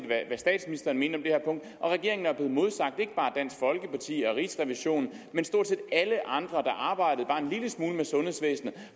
hvad statsministeren mente om og regeringen er blevet modsagt ikke bare af dansk folkeparti og rigsrevisionen men stort set alle andre der arbejder bare en lille smule med sundhedsvæsenet